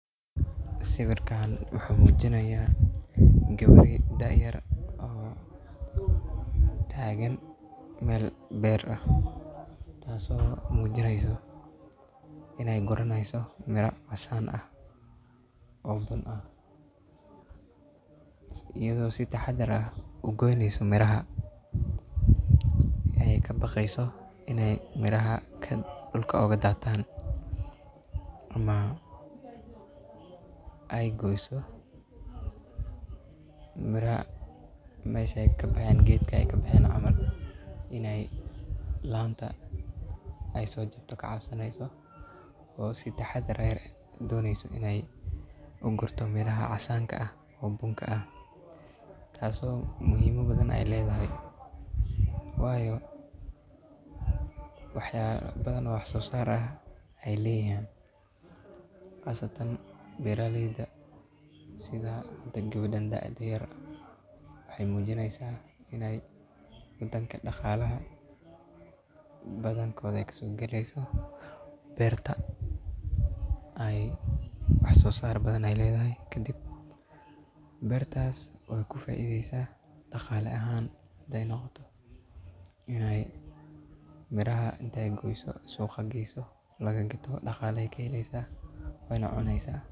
Sawirkan wuxuu muujinayaa gabar dhac yar oo taagan mel beer ah taasoo muujinayso inay guranayso mira casaan ah, oo buun ah. Iyadoo sii taxadar ah u goynayso miraha, ayey ka baqayso inay miraha kad dhulka uga daataan. Ma ay goyso. Miraha meeshan ka baxaya geedka, ay ka baxeen camaal. Inay laanta, ayso jebto ka caabsanayso. Oo sii taxadaray doonayso inay u gurto miraha casaan ka ah, oo buun ka ah. Taasoo muhiimma badan aye leedahay. Waayo, wax ya badan wax soo saar ah aye leeyihiin. Qasatan beeraleedah. Sidaa hada gabartan dhac yar waxay muujinaysa inay midan ka dhaqaalaha. Badan kooda ay kasoo geliyso, beerta ay wax soo saar badan aye leedahay. Kadib, beertas oo ku faaiideysna dhaqaale ahaan day noqoto. Inay miraha intee goyso suuqka geysu laga gato dhaqaalaha ka heleysaa, way na cunaysaa.